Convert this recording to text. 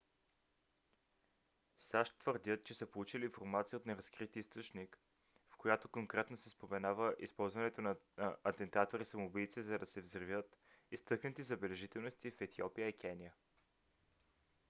сащ твърдят че са получили информация от неразкрит източник в която конкретно се споменава използването на атентатори самоубийци за да взривят изтъкнати забележителности в етиопия и кения